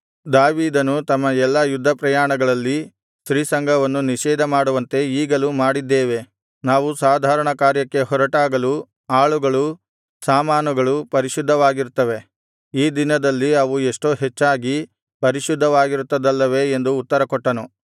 ದಾವೀದನು ನಮ್ಮ ಎಲ್ಲಾ ಯುದ್ಧ ಪ್ರಯಾಣಗಳಲ್ಲಿ ಸ್ತ್ರೀಸಂಗವನ್ನು ನಿಷೇಧಮಾಡುವಂತೆ ಈಗಲೂ ಮಾಡಿದ್ದೇವೆ ನಾವು ಸಾಧಾರಣ ಕಾರ್ಯಕ್ಕೆ ಹೊರಟಾಗಲೂ ಆಳುಗಳು ಸಾಮಾನುಗಳು ಪರಿಶುದ್ಧವಾಗಿರುತ್ತವೆ ಈ ದಿನದಲ್ಲಿ ಅವು ಎಷ್ಟೋ ಹೆಚ್ಚಾಗಿ ಪರಿಶುದ್ಧವಾಗಿರುತ್ತದಲ್ಲವೇ ಎಂದು ಉತ್ತರ ಕೊಟ್ಟನು